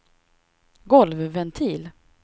golvventil